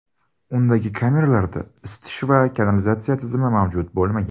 Undagi kameralarda isitish va kanalizatsiya tizimi mavjud bo‘lmagan.